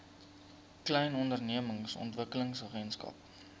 klein ondernemings ontwikkelingsagentskap